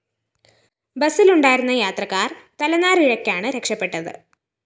ബസിലുണ്ടായിരുന്ന യാത്രക്കാര്‍ തലനാരിഴക്കാണ് രക്ഷപ്പെട്ടത്